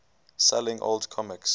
selling old comics